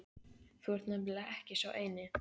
Þú ert nefnilega ekki sá eini